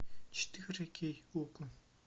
четыре кей окко